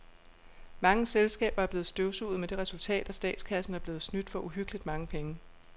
Mange selskaber er blevet støvsuget med det resultat, at statskassen er blevet snydt for uhyggeligt mange penge.